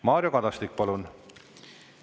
Mario Kadastik, palun!